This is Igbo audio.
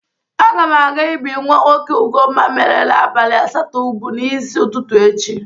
Aga m aga ibi nwa nwoke Ugomma merela abalị asatọ ubu n'isi ụtụtụ echi